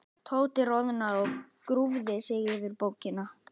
Tóti roðnaði og grúfði sig yfir bókina.